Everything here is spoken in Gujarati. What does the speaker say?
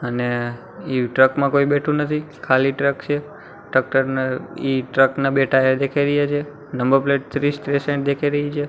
અને એ ટ્રક મા કોઇ બેઠુ નથી ખાલી ટ્રક છે ટ્રક ન ઈ ટ્રક ના બે ટાયર દેખાય રહ્યા છે નંબર પ્લેટ ત્રીસ ત્રીસ એમ દેખાય રહી છે.